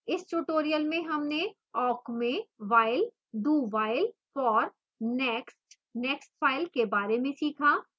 इस tutorial में हमने awk में while do… while for next nextfile के बारे में सीखा